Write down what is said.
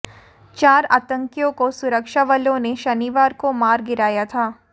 चार आतंकियों को सुरक्षा बलों ने शनिवार को मार गिराया था